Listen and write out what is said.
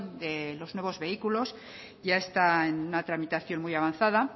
de los nuevos vehículos ya está en una tramitación muy avanzada